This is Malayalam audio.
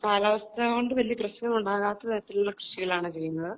കാലാവസ്ഥ കൊണ്ട് വലിയ പ്രശ്നം ഉണ്ടാകാത്ത തരത്തിലുള്ള കൃഷികളാണ് ചെയ്യുന്നത്